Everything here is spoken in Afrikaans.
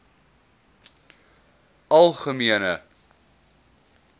algemene